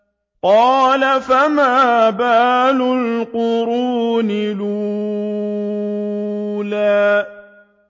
قَالَ فَمَا بَالُ الْقُرُونِ الْأُولَىٰ